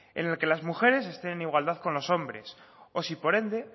en el que las mujeres estén en igualdad con los hombres o sí por ende